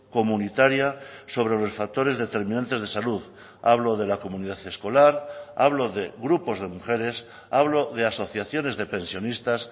comunitaria sobre los factores determinantes de salud hablo de la comunidad escolar hablo de grupos de mujeres hablo de asociaciones de pensionistas